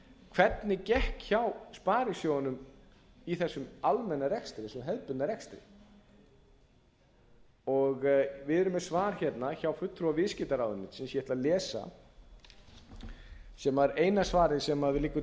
hvernig gekk hjá sparisjóðunum í þessum almenna rekstri þessum hefðbundna rekstri við erum með svar hérna frá fulltrúa viðskiptaráðuneytisins ég ætla að lesa það sem var eina svarið sem liggur